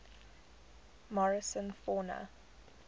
morrison fauna